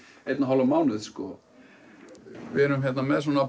einn og hálfan mánuð sko við erum með svona